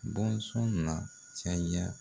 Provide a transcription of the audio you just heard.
Bɔnsɔn na caya